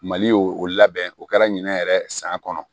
Mali y'o o labɛn o kɛra ɲinɛ yɛrɛ san kɔnɔ